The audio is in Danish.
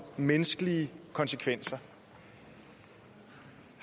menneskelige konsekvenser